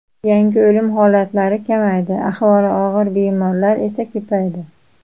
Yangi o‘lim holatlari kamaydi, ahvoli og‘ir bemorlar esa ko‘paydi.